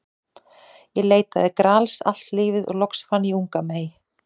Ég leitaði Grals allt lífið og loks fann ég unga mey.